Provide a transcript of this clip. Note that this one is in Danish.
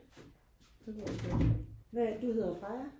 hvad er det du hedder Freja?